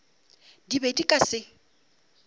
di be di ka se